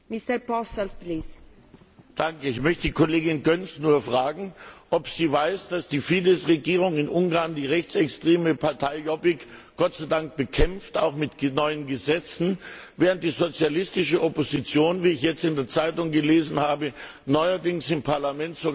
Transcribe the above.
Ich möchte die Kollegin Göncz fragen, ob sie weiß, dass die Fidesz Regierung in Ungarn die rechtsextreme Partei Jobbik Gott sei Dank bekämpft, auch mit neuen Gesetzen, während die sozialistische Opposition wie ich jetzt in der Zeitung gelesen habe neuerdings im Parlament sogar mit Jobbik zusammenarbeitet.